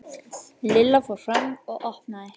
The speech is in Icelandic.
Lilla fór fram og opnaði.